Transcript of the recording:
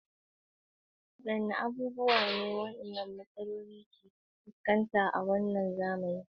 Wadanne abubuwa ne wadannan tsare-tsare na gargajiya ke fuskanta a wannan zamani?